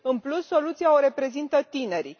În plus, soluția o reprezintă tinerii.